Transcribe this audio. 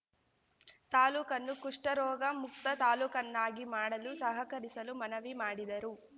ತಾಲೂಕನ್ನು ಕುಷ್ಠರೋಗ ಮುಕ್ತ ತಾಲೂಕನ್ನಾಗಿ ಮಾಡಲು ಸಹಕರಿಸಲು ಮನವಿ ಮಾಡಿದರು